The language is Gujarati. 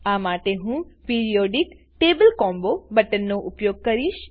આ માટે હું પીરિયોડિક ટેબલ કોમ્બો બટન નો ઉપયોગ કરીશ